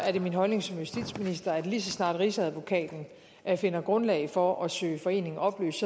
er det min holdning som justitsminister at lige så snart rigsadvokaten finder grundlag for at søge foreningen opløst